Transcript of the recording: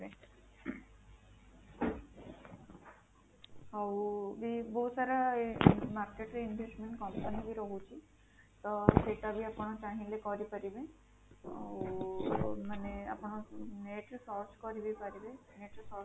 ଆଉ ବି ବହୁତ ସାରା market ରେ investment company ବି ରହୁଛି ତ ସେଟା ବି ଆପଣ ଚାହିଁଲେ କରିପାରିବେ ଆଉ ମାନେ ଆପଣ ବି net ରେ search କରିବି ପାରିବେ net search